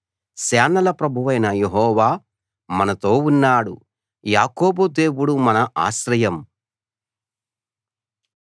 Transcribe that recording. సేనల ప్రభువైన యెహోవా మనతో ఉన్నాడు యాకోబు దేవుడు మన ఆశ్రయం